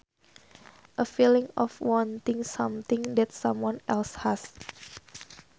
A feeling of wanting something that someone else has